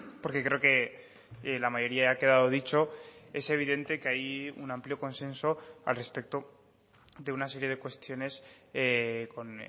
porque creo que la mayoría ha quedado dicho es evidente que hay un amplio consenso al respecto de una serie de cuestiones con